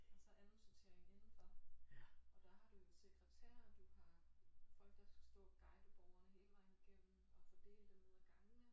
Og så anden sortering indenfor og der har du jo sekretærer du har folk der skal stå og guide borgerne hele vejen igennem og fordele dem ned ad gangene